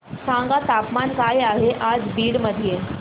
सांगा तापमान काय आहे आज बीड मध्ये